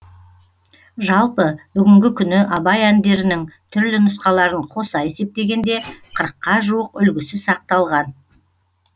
жалпы бүгінгі күні абай әндерінің түрлі нұсқаларын қоса есептегенде қырыққа жуық үлгісі сақталған